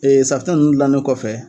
Ee safinɛ nunnu gilannen kɔfɛ